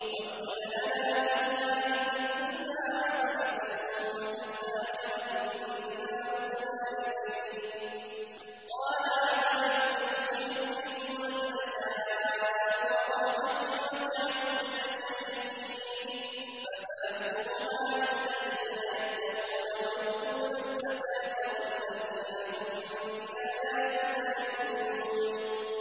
۞ وَاكْتُبْ لَنَا فِي هَٰذِهِ الدُّنْيَا حَسَنَةً وَفِي الْآخِرَةِ إِنَّا هُدْنَا إِلَيْكَ ۚ قَالَ عَذَابِي أُصِيبُ بِهِ مَنْ أَشَاءُ ۖ وَرَحْمَتِي وَسِعَتْ كُلَّ شَيْءٍ ۚ فَسَأَكْتُبُهَا لِلَّذِينَ يَتَّقُونَ وَيُؤْتُونَ الزَّكَاةَ وَالَّذِينَ هُم بِآيَاتِنَا يُؤْمِنُونَ